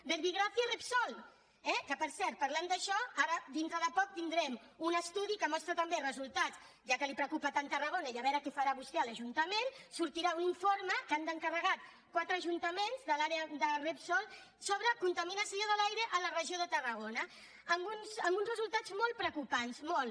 verbigràcia repsol eh que per cert parlant d’això ara dintre de poc tindrem un estudi que mostra també resultats ja que el preocupa tant tarragona i a veure què farà vostè a l’ajuntament sortirà un informe que han encarregat quatre ajuntaments de l’àrea de repsol sobre contaminació de l’aire a la regió de tarragona amb uns resultats molt preocupants molt